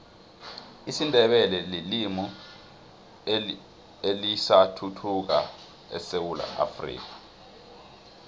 isindebele lilimi elisathuthukako esewula afrika